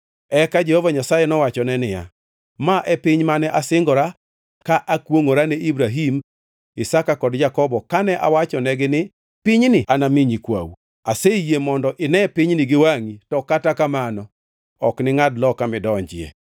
Eka Jehova Nyasaye nowachone niya, “Ma e piny mane asingora ka akwongʼora ne Ibrahim, Isaka kod Jakobo kane awachonegi ni, ‘Pinyni anami nyikwau.’ Aseyie mondo ine pinyni gi wangʼi, to kata kamano ok iningʼad loka midonjie.”